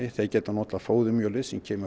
þeir geta notað fóðurmjölið sem kemur